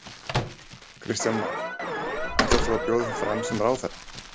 Kristján Már: Ætlar þú að bjóða þig fram sem ráðherra?